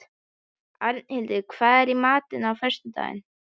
Arnhildur, hvað er í matinn á föstudaginn?